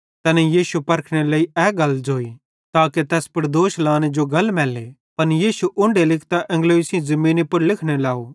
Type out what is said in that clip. तैनेईं यीशु परखनेरे लेइ ए गल ज़ोई ताके तैस पुड़ दोष लाने जो गल मैल्ले पन यीशु उन्ढे लिकतां एंगलोई सेइं ज़मीनी पुड़ लिखने लव